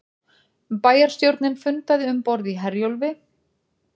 Bæjarstjórnin fundaði um borð í Herjólfi